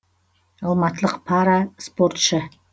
алматылық пара спортшы